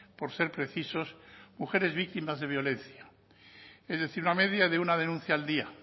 por ser precisos mujeres víctimas de violencia es decir una media de una denuncia al día